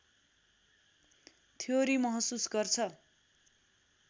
theory महसुस गर्छ